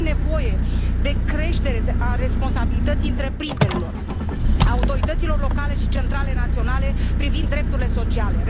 Este nevoie de creșterea responsabilității întreprinderilor, a autorităților locale și centrale naționale privind drepturile sociale.